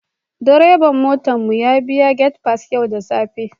Direban motar mu ya biya gate pass yau da safe